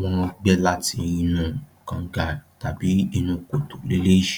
wọ́n bá gbà láti inú kàngà ni èyí.